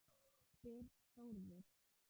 spyr Þórður